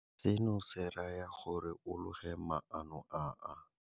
Seno se raya gore o loge maano a a.